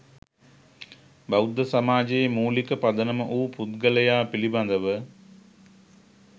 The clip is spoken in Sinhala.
බෞද්ධ සමාජයේ මූලික පදනම වූ පුද්ගලයා පිළිබඳව